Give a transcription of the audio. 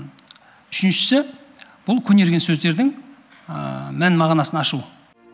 үшіншісі бұл көнерген сөздердің мән мағынасын ашу